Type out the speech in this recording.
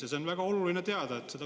Ja seda on väga oluline teada.